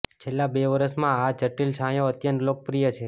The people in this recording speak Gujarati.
છેલ્લા બે વર્ષમાં આ જટિલ છાંયો અત્યંત લોકપ્રિય છે